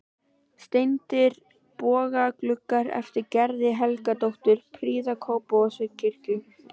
Steindir bogagluggar eftir Gerði Helgadóttur prýða Kópavogskirkju.